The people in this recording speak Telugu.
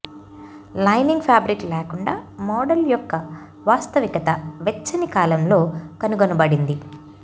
లైనింగ్ ఫ్యాబ్రిక్ లేకుండా మోడల్ యొక్క వాస్తవికత వెచ్చని కాలంలో కనుగొనబడింది